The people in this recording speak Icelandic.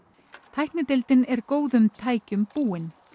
tæknideildin er góðum tækjum búin